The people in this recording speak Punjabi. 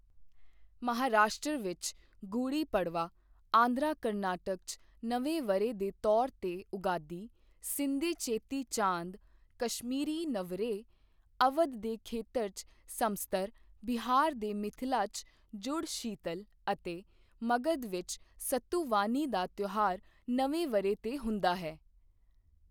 ਮਹਾਰਾਸ਼ਟਰ ਵਿੱਚ ਗੁੜੀ ਪੜਵਾ, ਆਂਧਰਾ ਕਰਨਾਟਕ 'ਚ ਨਵੇਂ ਵਰ੍ਹੇ ਦੇ ਤੌਰ ਤੇ ਉਗਾਦੀ, ਸਿੰਧੀ ਚੇਤੀ ਚਾਂਦ, ਕਸ਼ਮੀਰੀ ਨਵਰੇਹ, ਅਵਧ ਦੇ ਖੇਤਰ 'ਚ ਸੰਮਤਸਰ, ਬਿਹਾਰ ਦੇ ਮਿਥਿਲਾ 'ਚ ਜੁੜ ਸ਼ੀਤਲ ਅਤੇ ਮਗਧ ਵਿੱਚ ਸਤੂਵਾਨੀ ਦਾ ਤਿਓਹਾਰ ਨਵੇਂ ਵਰ੍ਹੇ ਤੇ ਹੁੰਦਾ ਹੈ।